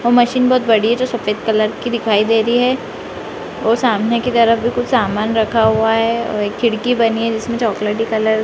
वो मशीन बहोत बड़ी है जो सफ़ेद कलर की दिखाई दे रही है ओर सामने की तरफ भी कुछ सामान रखा हुआ है और एक खिड़की बनी है जिसमें चोकलेटी कलर --